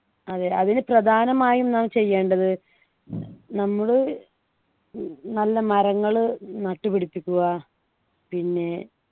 അതെ അതിന് പ്രധാനമായും നാം ചെയ്യേണ്ടത് നമ്മളു ഉം നല്ല മരങ്ങൾ നട്ടുപിടിപ്പിക്കുക പിന്നെ